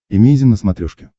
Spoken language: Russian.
эмейзин на смотрешке